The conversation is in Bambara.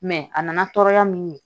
a nana tɔɔrɔya min ye